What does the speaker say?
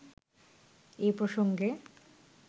এ প্রসঙ্গে